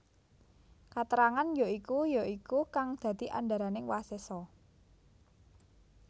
Katrangan ya iku ya iku kang dadi andharaning wasesa